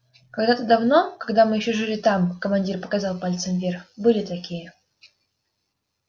когда-то давно когда мы ещё жили там командир показал пальцем вверх были такие